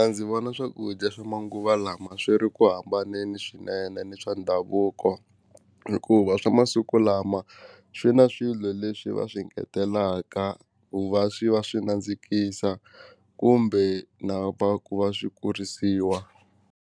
Ndzi vona swakudya swa manguva lama swi ri ku hambanini swinene ni swa ndhavuko hikuva swa masiku lama swi na swilo leswi va swi ngetelaka ku va swi va swi nandzikisa kumbe na va ku va swi kurisiwa.